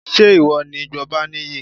Ṣé ìwọ ni Gbọ́baníyì?